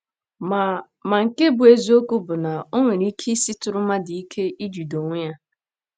Ma Ma, nke bụ́ eziokwu bụ na o nwere ike isitụrụ mmadụ ike ijide onwe ya.